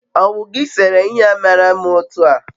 owu gi sere ihe a mara mma otu a?